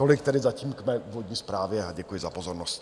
Tolik tedy zatím k mé úvodní zprávě a děkuji za pozornost.